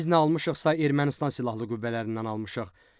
Biz nə almışıqsa, Ermənistan Silahlı Qüvvələrindən almışıq.